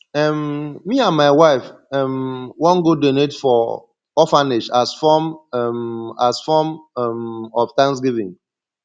um me and my wife um wan go donate for orphanage as form um as form um of thanksgiving